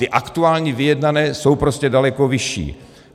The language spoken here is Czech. Ty aktuální vyjednané jsou prostě daleko vyšší.